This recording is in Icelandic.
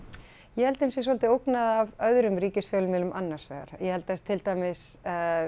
ég held að þeim sé svolítið ógnað af öðrum ríkisfjölmiðlum annars vegar ég held að til dæmis